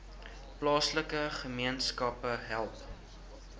plaaslike gemeenskappe help